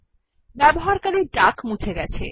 ব্যবহারকারী ডাক মুছে গেছে